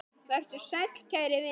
Vertu sæll kæri vinur.